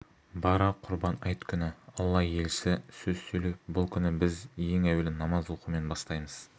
бара құрбан айт күні алла елшісі сөз сөйлеп бұл күні біз ең әуелі намаз оқумен бастаймыз